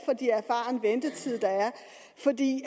der er for de